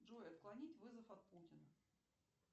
джой отклонить вызов от путина